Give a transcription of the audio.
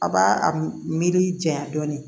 A b'a miiri janya dɔɔnin